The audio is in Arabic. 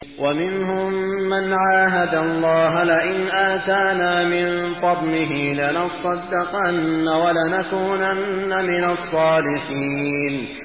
۞ وَمِنْهُم مَّنْ عَاهَدَ اللَّهَ لَئِنْ آتَانَا مِن فَضْلِهِ لَنَصَّدَّقَنَّ وَلَنَكُونَنَّ مِنَ الصَّالِحِينَ